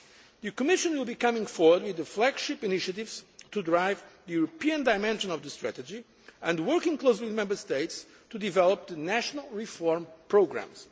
The Commission will be coming forward with the flagship initiatives to drive the European dimension of the strategy, and working closely with Member States to develop the national reform programmes.